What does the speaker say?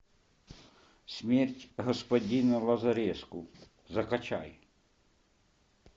смерть господина лазареску закачай